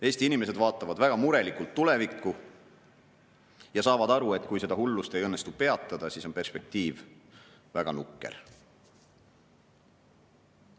Eesti inimesed vaatavad väga murelikult tulevikku ja saavad aru, et kui seda hullust ei õnnestu peatada, siis on perspektiiv väga nukker.